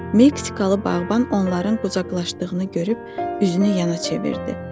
Meksikalı bağban onların qucaqlaşdığını görüb üzünü yana çevirdi.